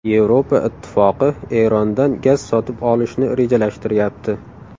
Yevropa Ittifoqi Erondan gaz sotib olishni rejalashtiryapti.